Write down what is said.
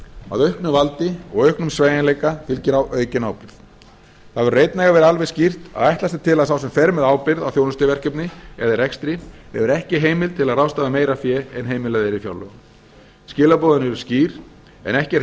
að auknu valdi og auknum sveigjanleika fylgir aukin ábyrgð það verður einnig að vera alveg skýrt að ætlast er til að sá sem fer með ábyrgð á þjónustuverkefni eða rekstri hefur ekki heimild til að ráðstafa meira fé en heimilað er í fjárlögum skilaboðin eru skýr en ekki er